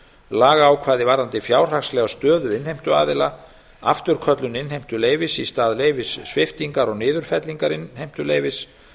lagaákvæði varðandi fjárhagslega stöðu innheimtuaðila afturköllun innheimtu leyfis í stað leyfissviptingar og niðurfellingar innheimtuleyfis